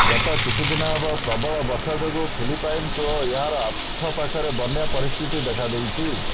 ଗତ କିଛିଦିନ ହେବ ପ୍ରବଳ ବର୍ଷା ଯୋଗୁଁ ଫିଲିପାଇନ୍ସ ଓ ଏହାର ଆଖପାଖରେ ବନ୍ୟା ପରିସ୍ଥିତି ଦେଖା ଦେଇଛି